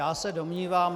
Já se domnívám -